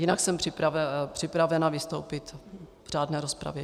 Jinak jsem připravena vystoupit v řádné rozpravě.